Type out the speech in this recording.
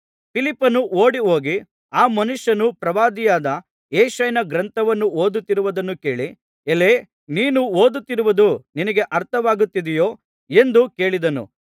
ಫಿಲಿಪ್ಪನು ಓಡಿಹೋಗಿ ಆ ಮನುಷ್ಯನು ಪ್ರವಾದಿಯಾದ ಯೆಶಾಯನ ಗ್ರಂಥವನ್ನು ಓದುತ್ತಿರುವುದನ್ನು ಕೇಳಿ ಎಲೈ ನೀನು ಓದುತ್ತಿರುವುದು ನಿನಗೆ ಅರ್ಥವಾಗುತ್ತಿದೆಯೋ ಎಂದು ಕೇಳಿದನು